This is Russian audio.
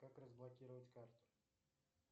как разблокировать карту